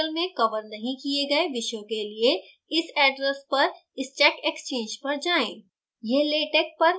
spoken tutorials में cover नहीं किये गए विषयों के लिए इस address पर stack exchange पर जाएँ